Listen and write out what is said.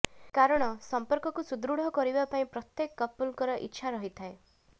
କାରଣ ସର୍ମ୍ପକକୁ ସୁଦୃଢ଼ କରିବା ପାଇଁ ପ୍ରତ୍ୟେକ କପଲଙ୍କର ଇଛା ରହିଥାଏ